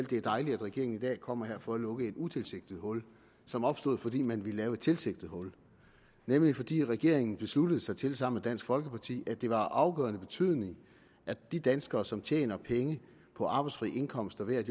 det er dejligt at regeringen i dag kommer her for at lukke et utilsigtet hul som opstod fordi man ville lave et tilsigtet hul nemlig fordi regeringen besluttede sig til sammen med dansk folkeparti at det var af afgørende betydning at de danskere som tjener penge på arbejdsfri indkomster ved at